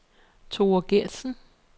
Thora Gertsen